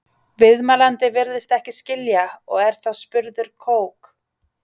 Viðmælandi virðist ekki skilja og er þá spurður Kók?